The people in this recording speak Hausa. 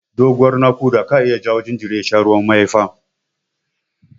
Doguwar naƙuda ka iya jawo jinjiri ya sha ruwan mahaifa.